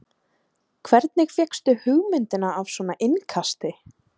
Hvernig fékkstu hugmyndina af svona innkasti?